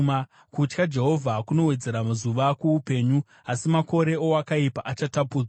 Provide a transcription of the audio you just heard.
Kutya Jehovha kunowedzera mazuva kuupenyu, asi makore owakaipa achatapudzwa.